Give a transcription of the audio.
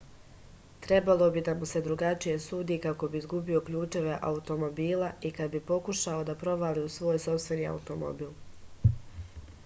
trebalo bi da mu se drugačije sudi kad bi izgubio ključeve automobila i kad bi pokušavao da provali u svoj sopstveni automobil